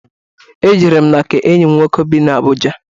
Ejere m na nke enyi m nwoke bị n'Abuja.